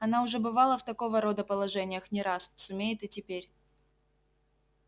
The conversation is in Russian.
она уже бывала в такого рода положениях не раз сумеет и теперь